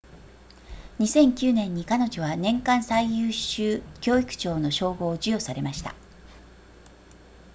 2009年に彼女は年間最優秀教育長の称号を授与されました